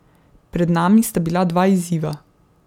Pred nami sta bila dva izziva.